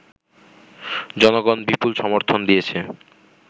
জনগণ বিপুল সমর্থন দিয়েছে